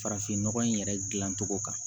Farafinnɔgɔ in yɛrɛ dilancogo kan